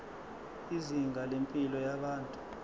izinga lempilo yabantu